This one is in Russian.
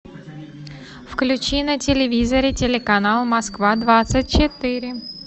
включи на телевизоре телеканал москва двадцать четыре